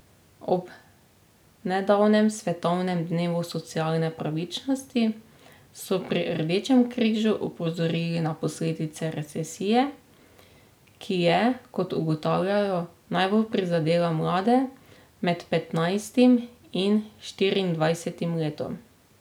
Ob nedavnem svetovnem dnevu socialne pravičnosti so pri Rdečem križu opozorili na posledice recesije, ki je, kot ugotavljajo, najbolj prizadela mlade med petnajstim in štiriindvajsetim letom.